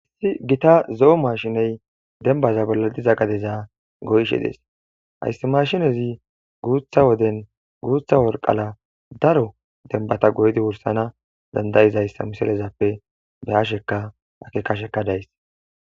Hissi gita zo'o mashiney dembaza bolla diza gadeza goyshe dees hayssi mashinezi guutha woden guutha worqala daro denbata goydi wursana dandayizayssa miselezappe be hasheka akekasheka days.